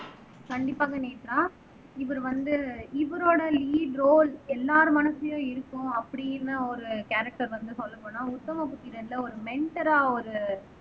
கண்டிப்பாக நேத்ரா இவர் வந்து இவரோட லீட் ரோல் எல்லார் மனசுலயும் இருக்கும் அப்படின்னு ஒரு கேரக்டர் வந்து சொல்லப் போனால் உத்தம புத்திரன்ல ஒரு மெண்டரா ஒரு